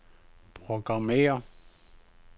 programmér